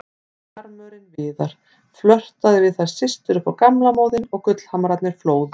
Sjarmörinn Viðar, flörtaði við þær systur upp á gamla móðinn og gullhamrarnir flóðu.